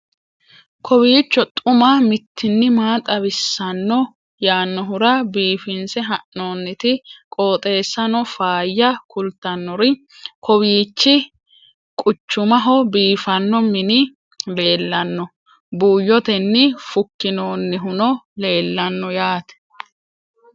kowiicho xuma mtini maa xawissanno yaannohura biifinse haa'noonniti qooxeessano faayya kultannori kowiichi quchumaho biifanno mini leellanno buuyyotenni fukkinoonnihuno leellanno yaate